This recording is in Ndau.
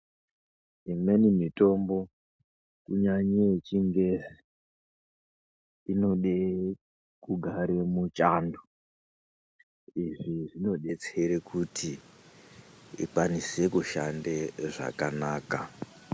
Imweni mitombo, kunyanye yechingezi, inode kugare muchando. Izvi zvinodetsere kuti ,ikwanise kushande zvakanaka.